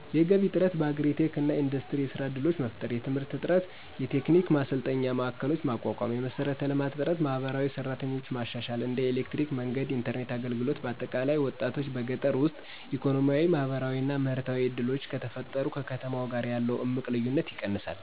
የገቢ እጥረት:- በአግሪ-ቴክ እና ኢንዱስትሪ የሥራ ድሎች መፍጠር። የትምህርት እጥረት:- የቴክኒክ ማሰልጠኛ ማዕከሎችን ማቋቋም። የመሠረተ ልማት እጥረት:- የማህበራዊ ሰራተኞች ማሻሻል (እንደ ኤሌክትሪክ፣ መንገድ፣ የኢንተርኔት አገልግሎት)። በአጠቃላይ፣ ወጣቶች በገጠር ውስጥ ኢኮኖሚያ፣ ማህበራዊ እና ምህርታዊ ዕድሎች ከተፈጠሩ ከከተማ ጋር ያለው እምቅ ልዩነት ይቀንሳል።